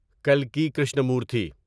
کلکی Krishnamurthy